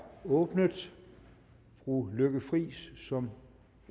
åbnet fru lykke friis som